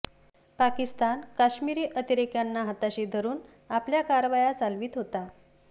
पाकिस्तान काश्मिरी अतिरेक्यांना हाताशी धरून आपल्या कारवाया चालवीत होता